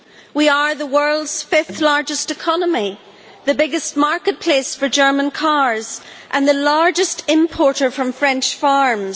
We are the world's fifth largest economy, the biggest marketplace for German cars and the largest importer from French farms.